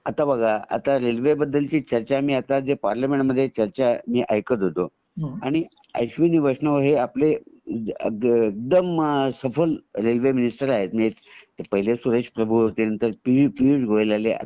आता बघा आता रेल्वे बद्दल ची जी चर्चा मी आता पार्लियामेंट मध्ये मी जी चर्चा ऐकत होतो आणि अश्विनी वैष्णव हे आपले एकदम सफल रेल्वे मिनिस्टर आहेत पहिले सुरेश प्रभू होते नंतर पीयूष गोयल आले